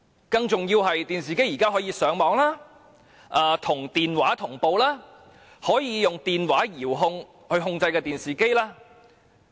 更重要的是，現時還可以利用電視機上網、與電話同步及用電話遙控電視機。